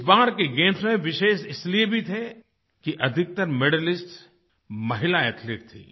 इस बार के गेम्स विशेष इसलिए भी थे कि अधिकतर मेडलिस्ट महिला एथलीट थीं